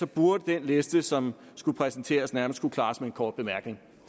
burde den liste som skulle præsenteres nærmest kunne klares med en kort bemærkning